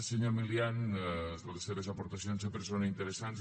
senyor milián les seves aportacions sempre són interessants